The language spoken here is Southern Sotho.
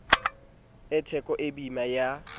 e theko e boima ya